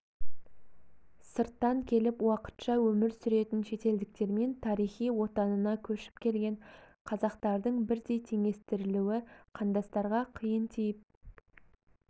сырттан келіп уақытша өмір сүретін шетелдіктермен тарихи отанына көшіп келген қазақтардың бірдей теңестірілуі қандастарға қиын тиіп